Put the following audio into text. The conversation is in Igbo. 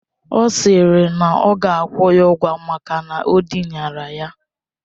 Ọ sịrị na ọ ga-akwụ ya ụgwọ maka o dinara ya.